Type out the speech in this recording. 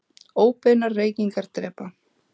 Óbeinar reykingar drepa